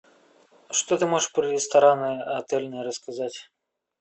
что ты можешь про рестораны отельные рассказать